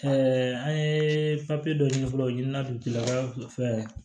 an ye dɔ ɲini fɔlɔ u ɲina don kiaa